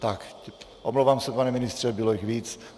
Tak, omlouvám se, pane ministře, bylo jich víc.